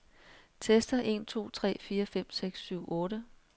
Tester en to tre fire fem seks syv otte.